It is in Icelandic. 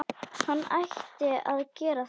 Hann ætti að gera það.